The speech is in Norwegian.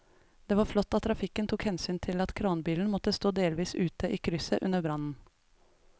Det var flott at trafikken tok hensyn til at kranbilen måtte stå delvis ute i krysset under brannen.